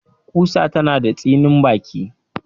Ƙusa tana da tsinin baki